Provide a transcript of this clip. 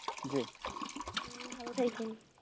ভালো থাইকেন